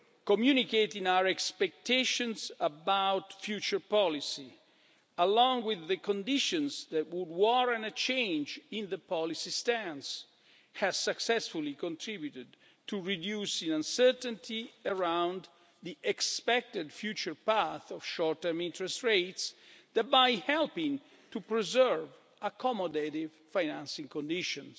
Communicating our expectations about future policy, along with the conditions that would warrant a change in the policy stance, has successfully contributed to reduce the uncertainty around the expected future path of short-term interest rates, thereby helping to preserve accommodative financing conditions.